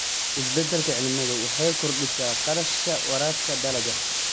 Isbeddelka cimiladu waxay kordhisay kharashka waraabka dalagga.